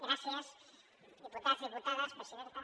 gràcies diputats diputades presidenta